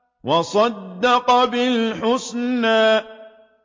وَصَدَّقَ بِالْحُسْنَىٰ